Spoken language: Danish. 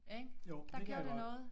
Ikke der gjorde det noget